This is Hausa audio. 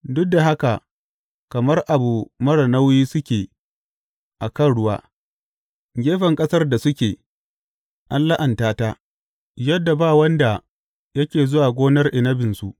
Duk da haka kamar abu marar nauyi suke a kan ruwa; gefen ƙasar da suke, an la’anta ta, yadda ba wanda yake zuwa gonar inabinsu.